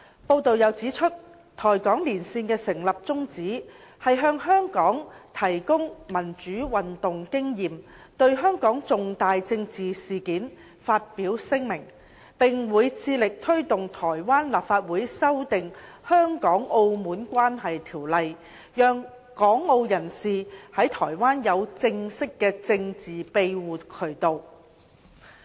報道又指出，台港連線的成立宗旨，是向香港提供民主運動經驗、對香港重大政治事件發表聲明，並會致力推動台灣立法院修訂《香港澳門關係條例》，讓港澳人士在台灣有正式的政治庇護渠道。